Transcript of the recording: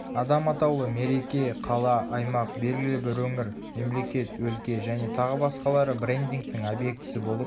адам атаулы мереке қала аймақ белгілі бір өңір мемлекет өлке және тағы басқалары брендингтің объектісі болып